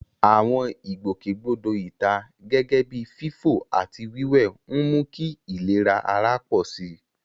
Àwọn ìgbòkègbodò ìta, gẹ́gẹ́ bíi fífò àti wíwẹ̀, ń mú kí ìlera ara pọ̀ sí i.